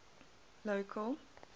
local